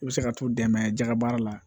I bɛ se ka t'u dɛmɛ jɛgɛ baara la